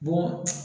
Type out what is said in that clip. Bon